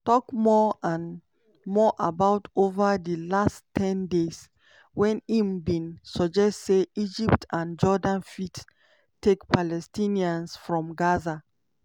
tok more and more about over di last ten days wen im bin suggest say egypt and jordan fit "take" palestinians from gaza.